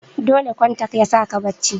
dole kontak yasaka bacci